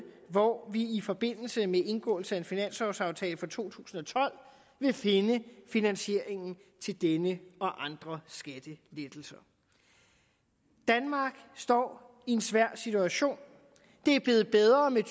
hvor vi i forbindelse med indgåelse af en finanslovaftale for to tusind og tolv vil finde finansieringen til denne og andre skattelettelser danmark står i en svær situation det er blevet bedre med